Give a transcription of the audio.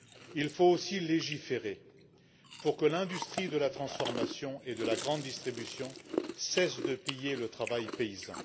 Il faut aussi légiférer pour que l'industrie de la transformation et de la grande distribution cesse de piller le travail paysan.